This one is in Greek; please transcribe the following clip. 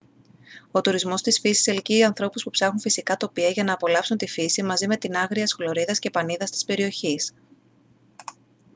ο τουρισμός της φύσης ελκύει ανθρώπους που ψάχνουν φυσικά τοπία για να απολαύσουν τη φύση μαζί με την άγριας χλωρίδας και πανίδας της περιοχής